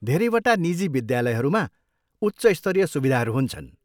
धेरैवटा निजी विद्यालयहरूमा उच्च स्तरीय सुविधाहरू हुन्छन्।